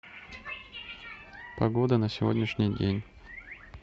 погода на сегодняшний день